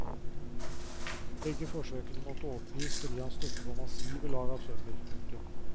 Begge forsøkene måtte oppgis fordi han støtte på massive lag av tømmer. punktum